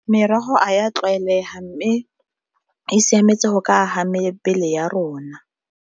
Merogo a ya tlwaelega, mme e siametse go ka aga mebele ya rona.